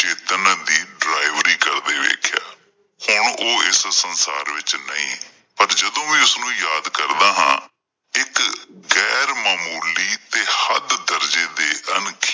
ਚੇਤਨ ਦੀ ਡਰਾਈਵਰੀ ਕਰਦੇ ਵੇਖਿਆ। ਹੁਣ ਓਹ ਇਸ ਸੰਸਾਰ ਵਿੱਚ ਨਹੀਂ ਪਰ ਜਦੋਂ ਮੈਂ ਉਸਨੂੰ ਯਾਦ ਕਰਦਾ ਹਾਂ ਇਕ ਗੈਰ ਮਾਮੂਲੀ ਤੇ ਹੱਦ ਦਰਜੇ ਦੇ